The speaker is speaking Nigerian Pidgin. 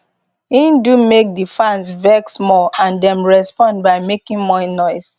im do make di fans vex more and dem respond by making more noise